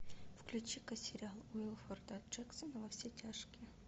включи ка сериал уилфорда джексона во все тяжкие